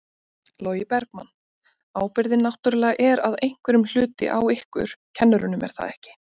Logi Bergmann: Ábyrgðin náttúrulega er að einhverjum hluti á ykkur kennurum er það ekki?